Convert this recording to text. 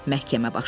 Məhkəmə başladı.